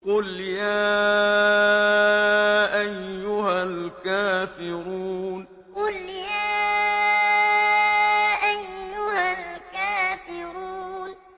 قُلْ يَا أَيُّهَا الْكَافِرُونَ قُلْ يَا أَيُّهَا الْكَافِرُونَ